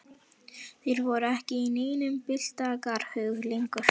Þeir voru ekki í neinum byltingarhug lengur.